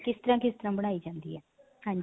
ਕਿਸ ਤਰ੍ਹਾਂ ਕਿਸ ਤਰ੍ਹਾਂ ਬਣਾਈ ਜਾਂਦੀ ਹੈ ਹਾਂਜੀ